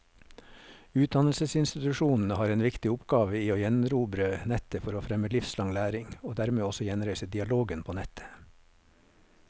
Utdannelsesinstitusjonene har en viktig oppgave i å gjenerobre nettet for å fremme livslang læring, og dermed også gjenreise dialogen på nettet.